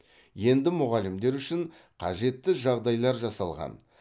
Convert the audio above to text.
енді мұғалімдер үшін қажетті жағдайлар жасалған